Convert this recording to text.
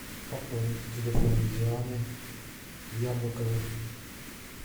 пополнить телефон дианы яблоковой